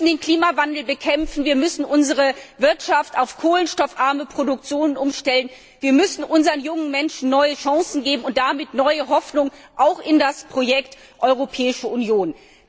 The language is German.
Wir müssen den Klimawandel bekämpfen, wir müssen unsere Wirtschaft auf kohlenstoffarme Produktion umstellen, wir müssen unseren jungen Menschen neue Chancen geben und damit neue Hoffnung, auch in das Projekt Europäische Union.